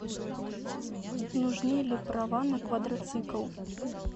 нужны ли права на квадроцикл